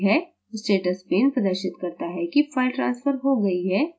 status pane प्रदर्शित करता है कि फ़ाइल ट्रांस्फर हो गई है